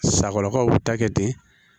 Sakɔrɔkaw bi ta kɛ ten